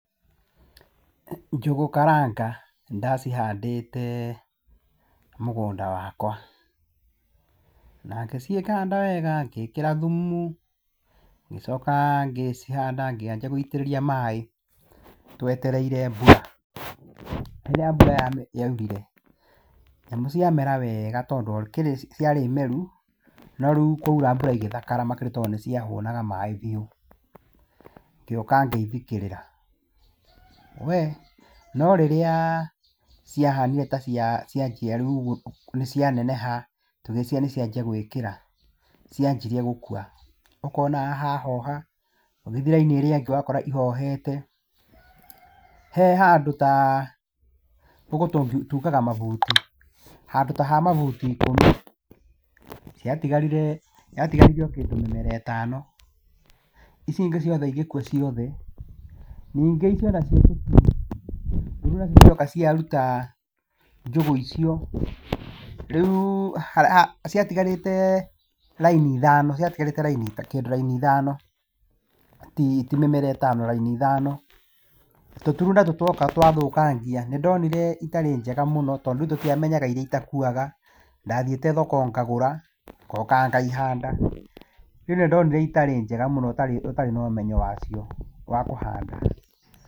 Njũgũ karanga nĩ ndacihandĩte mũgũnda wakwa, na ngĩcihanda wega, ngĩkĩra thumu ngĩcoka ngĩcihanda ngĩanjia gũitĩrĩria maaĩ twetereire mbura. Rĩrĩa mbura yaurire nyamũ ciamera wega, tondũ gũkĩrĩ ciarĩ meru no rĩu kwaura mbura igĩthakara makĩria, tondũ níĩ ciahũnaga maaĩ biũ. Ngĩũka ngĩthikĩrĩra, we no rĩrĩa ciahanire ta cianjia rĩu ũguo nĩ cianeneha, tũgĩciria nĩ cianjia gwĩkĩra, cianjirie gũkua. Ũkona haha hahoha, ũgĩthiĩ raini ĩrĩa ĩngĩ ũkona ihohete he handũ ta, gũkũ tũgaga mabuti handũ ta ha mabuti ikũmi ,ciatigarire kĩndũ mĩmera ĩtano icio ingĩ igĩkua ciothe. Ningĩ iria nacio ciatigara rĩrĩa cioka ciaruta njũgũ icio rĩu, ciatigarĩte raini ithano, ciatigarĩte kĩndũ ta raini ithano, ti mĩmera ĩtano raini ithano, tũturu natuo tuoka twathukangia. Nĩ ndonire itarĩ njega mũno, tondũ tũtiamenyaga iria itakuaga, ndathiĩte thoko ngagũra ngoka ngaihanda, rĩu nĩ ndonire itarĩ njega mũno ũtarĩ na ũmenyo wacio wa kũhanda.